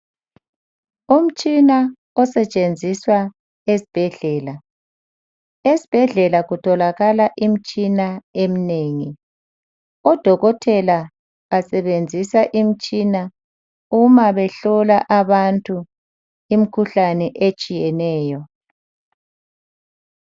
Umtshina osentshenziswa esibhedlela esibhedlela kutholakala imitshina eminengi odokotela basebenzisa imitshina uma behlola abantu imikhuhlane etshiyeneyo.